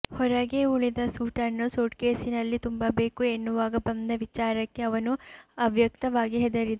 ಹೊರಗೇ ಉಳಿದ ಸೂಟನ್ನು ಸೂಟ್ಕೇಸಿನಲ್ಲಿ ತುಂಬಬೇಕು ಎನ್ನುವಾಗ ಬಂದ ವಿಚಾರಕ್ಕೆ ಅವನು ಅವ್ಯಕ್ತವಾಗಿ ಹೆದರಿದ